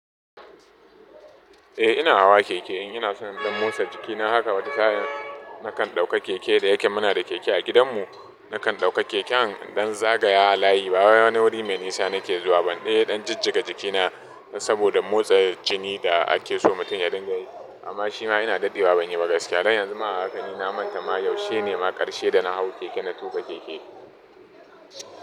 Eh ina hawa keke, in ina so in ɗan motsa jiki na haka wata sa'in nakan ɗauka keke da yake muna da keke a gidanmu, nakan ɗauka keken don zagaya a layi ba wai wani wuri mai nisa nake zuwa ba in dai dan jijjiga jiki na saboda motsa jini da ake so mutum ya dinga yi amma shi ma ina daɗewa ban yi ba gaskiya. Dan yanzu ma haka ni na manta ma yaushe ne ma ƙarshe da na hau keke na tuka keke.